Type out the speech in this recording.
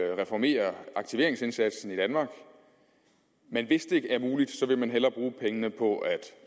at reformere aktiveringsindsatsen i danmark men hvis det ikke er muligt vil man hellere bruge pengene på